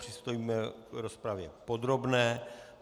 Přistoupíme k rozpravě podrobné.